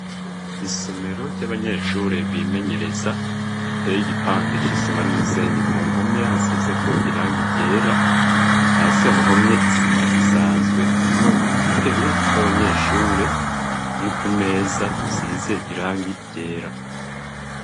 Isomero ry'abanyeshure bimenyereza iteye igipande c’isima n'umusenyi ku mpome hasize ko irangi ryera hasi hahomye isima isanzwe harimwo udutebe tw'abanyeshuri nutumeza dusize irangi ryera.